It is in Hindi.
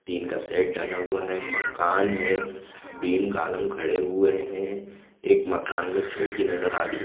टीन का सेट डला हुआ है मकान है बीम कालम खड़े हुए है एक मकान में खिड़की नजर आ रही हैं।